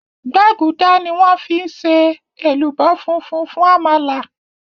gbágudá ní wón fí ṣe èlùbọ́ fúnfún fún àmàlà